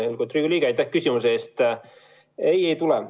Lugupeetud Riigikogu liige, aitäh küsimuse eest!